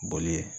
Boli